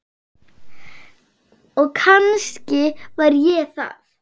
Og kannski var ég það.